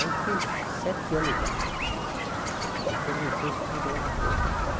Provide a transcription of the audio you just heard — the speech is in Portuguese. Aí fiquei sete anos lá, assessor de imprensa no Tribunal de Contas.